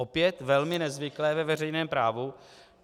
Opět velmi nezvyklé ve veřejném právu.